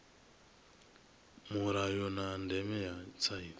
mulayo na ndeme ya tsaino